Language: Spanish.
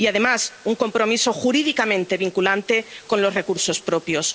Y, además, un compromiso jurídicamente vinculante con los recursos propios.